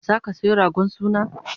zaka Sayo ragon suna?